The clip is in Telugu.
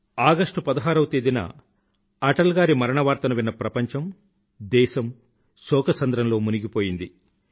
ఆగస్టు పదహారవ తేదీన అటల్ గారి మరణ వార్తను విన్న ప్రపంచము దేశమూ శోకసంద్రంలో మునిగిపోయింది